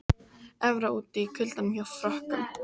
Evra úti í kuldanum hjá Frökkum